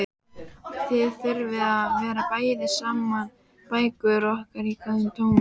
Við þyrftum að bera saman bækur okkar í góðu tómi.